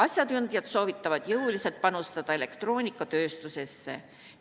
Asjatundjad soovitavad jõuliselt panustada elektroonikatööstusesse.